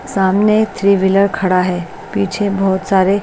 सामने three wheeler खड़ा है पीछे बहुत सारे--